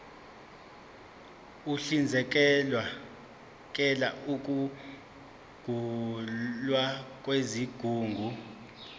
uhlinzekela ukusungulwa kwezigungu